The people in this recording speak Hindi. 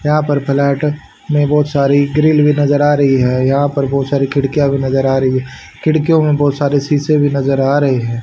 यहां पर फ्लैट में बहुत सारी ग्रिल भी नजर आ रही है यहां पर बहुत सारी खिड़कियां भी नजर आ रही खिड़कियों में बहुत सारे शीशे भी नजर आ रहे हैं।